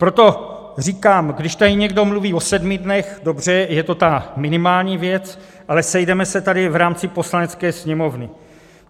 Proto říkám, když tady někdo mluví o sedmi dnech, dobře, je to ta minimální věc, ale sejdeme se tady v rámci Poslanecké sněmovny.